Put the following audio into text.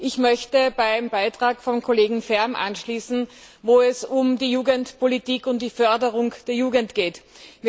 Ich möchte beim Beitrag vom Kollegen Färm anschließen, bei dem es um die Jugendpolitik und die Förderung der Jugend ging.